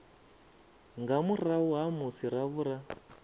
nga murahu ha musi ravhura